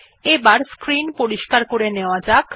এবার স্ক্রিন পরিস্কার করে নেওয়া যাক